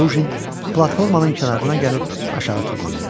Lujin platformanın kənarına gəlib aşağı tullandı.